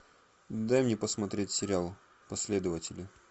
дай мне посмотреть сериал последователи